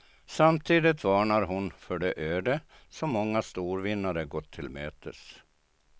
Samtidigt varnar hon för det öde som många storvinnare gått till mötes.